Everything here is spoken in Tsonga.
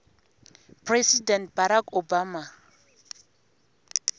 president barack obama